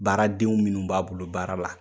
Baaraden minnu b'a bolo baara la.